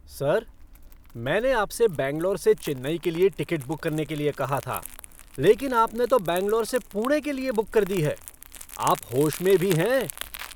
Sir! मैंने आपसे बैंगलोर से चेन्नई के लिए टिकट बुक करने के लिए कहा था, लेकिन आपने तो बैंगलोर से पुणे के लिए बुक कर दी है। आप होश में भी हैं?